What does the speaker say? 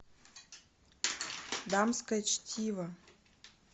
дамское чтиво